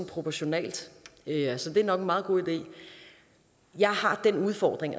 proportionalt så det er nok en meget god idé jeg har den udfordring